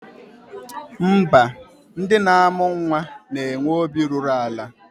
Mba, ndị na-amụ nnwa na-enwe obi ruru ala